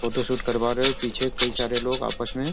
photo shoot करवा रहे पीछे कई सारे लोग आपस में --